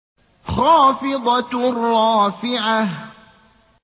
خَافِضَةٌ رَّافِعَةٌ